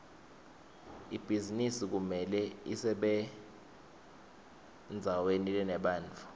ibhizinisi kumele ibesendzaweni lenebantfu